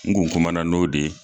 Ngun kumana na n'o de ye